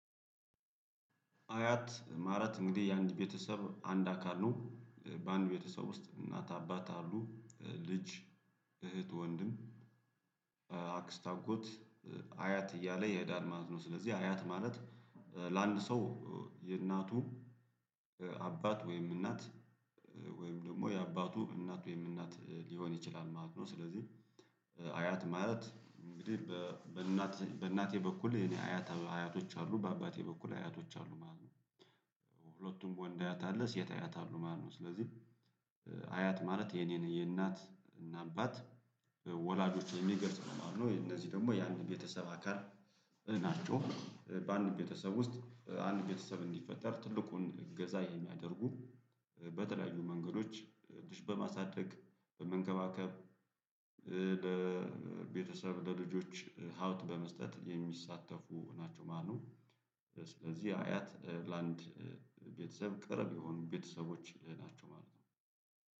አያት ማለት እንግዲህ የአንድ ቤተሰብ አንድ አካል ነው። በአንድ ቤተሰብ ውስጥ እናት አባት አሉ ልጅ እህት ወንድም አክስት አጎት አያት እያለ ይሄዳል ማለት ነው። ስለዚህ አያት ማለት ለአንድ ሰው የእናቱ አባት ወይም እናት ወይም ደግሞ የአባቱ እናት ወይም እናት ሊሆን ይችላል ማለት ነው። ስለዚህ ማለት እንግዲህ በእናቴ በእናቴ በኩል አያት አያቶች አሉ በአባቴ በኩል አያቶች አሉ ማለት ነው። ሁለቱም ወንድ አያት አለ ሴት አያት አሉ ማለት ነው። ስለዚህ አያት ማለት የኔን የእናት እና አባት ወላጆች የሚገልጽ ነው የማለትነው እነዚህ ደግሞ ያንድን ቤተሰብ አካል ናቸው። በአንድ ቤተሰብ ውስጥ አንድ ቤተሰብ እንዲፈጠር ትልቁን እገዛ የሚያደርጉ በተለያዩ መንገዶች በማሳደግ በመንከባከብ ለቤተሰብ ለልጆች ሀብት በመስጠት የሚሳተፉ ናቸው ማለትነው። ስለዚህ አያት ለአንድ ቤተሰብ ቅርብ የሆኑ ቤተሰቦች ናቸው ማለት ነው።